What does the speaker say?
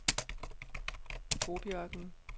Gobiørkenen